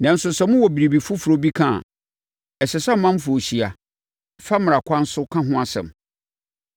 Nanso, sɛ mowɔ biribi foforɔ bi ka a, ɛsɛ sɛ ɔmanfoɔ hyia, fa mmara kwan so ka ho asɛm.